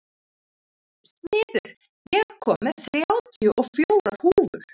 Smiður, ég kom með þrjátíu og fjórar húfur!